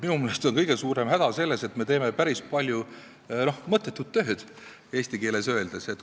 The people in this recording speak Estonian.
Minu meelest on kõige suurem häda selles, et me teeme päris palju mõttetut tööd, eesti keeles öeldes.